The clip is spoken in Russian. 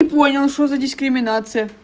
не понял что за дискриминация